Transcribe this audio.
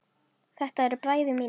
Þetta eru bræður mínir.